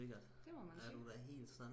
det må man sige